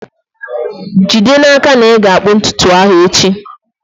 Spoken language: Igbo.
jide n'aka na ị ga-akpụ ntutu ahụ echi!